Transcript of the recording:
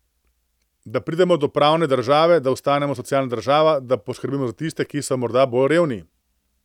Da pridemo do pravne države, da ostanemo socialna država, da poskrbimo za tiste, ki so morda bolj revni.